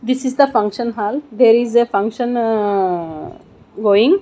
this is the function hall there is a function going.